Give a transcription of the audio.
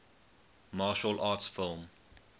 martial arts film